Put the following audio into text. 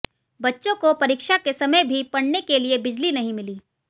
बच्चों को परीक्षा के समय भी पढ़ने के लिए बिजली नहीं मिली